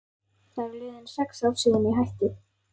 Það eru liðin sex ár síðan ég hætti.